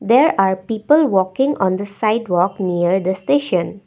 there are people walking on the sidewalk near the station.